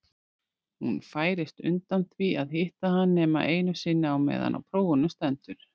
Hún færist undan því að hitta hann nema einu sinni á meðan á prófunum stendur.